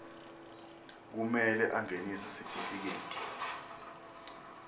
kumele angenise sitifiketi